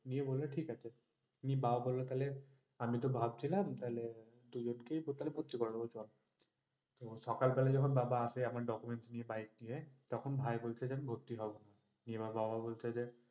নিও, ঠিক আছে, বাবা বললো তাইলে আমি তো ভাবছিলাম তাইলে দুজনকে তো ভর্তি করে দেব চল। সকাল বেলা যখন বাবা আসে আমার documents নিয়ে bike নিয়ে তখন ভাই বলছে আমি ভর্তি হবো না, তখন বাবা বলছে যে,